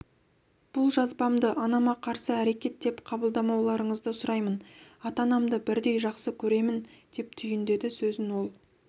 бұл жазбамды анама қарсы әрекет деп қабылдамауларыңызды сұраймын ата-анамды бірдей жақсы көремін деп түйіндеді сөзін ол